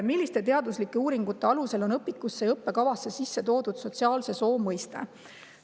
"Milliste teaduslike uuringute alusel on õpikusse ja õppekavasse sisse toodud sotsiaalse soo mõiste?